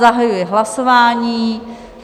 Zahajuji hlasování.